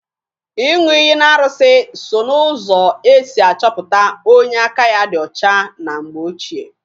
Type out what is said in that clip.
Ịṅụ iyi n'arụsị so n'ụzọ e si achọpụta onye aka ya dị ọcha na mgbe ochie